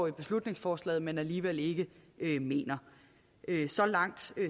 i beslutningsforslaget at man alligevel ikke ikke mener så langt